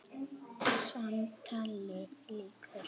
Samtali lýkur.